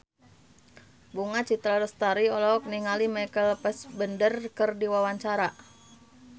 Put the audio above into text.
Bunga Citra Lestari olohok ningali Michael Fassbender keur diwawancara